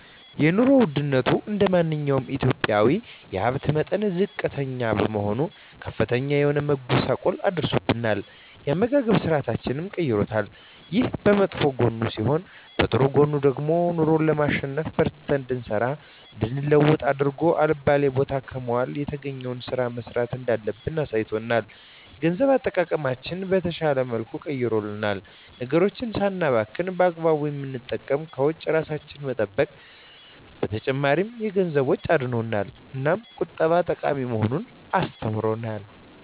የኑሮ ወድነቱ እንደማንኛውም ኢትዮጵያዊ የሀብት መጠናችን ዝቅተኛ በመሆኑ ከፍተኛ የሆነ መጎሳቆል አድርሶብናል የአመጋገብ ስርአታችንንም ቀይሮታል። ይሄ በመጥፎ ጎኑ ሲሆን በጥሩ ጎኑ ደግሞ ኑሮን ለማሸነፍ በርትተን እንድንሰራ እንድንለወጥ አድርጎ አልባሌ ቦታ ከመዋል የተገኘዉን ስራ መስራት እንዳለብን አሳይቶናል። የገንዘብ አጠቃቀማችንን በተሻለ መልኩ ቀይሮልናል ነገሮችን ሳናባክን በአግባቡ በመጠቀም ከወጪ እራሳችንን በመጠበቅ ከተጨማሪ የገንዘብ ወጪ አድኖናል። እናም ቁጠባ ጠቃሚ መሆኑን አስተምሮናል።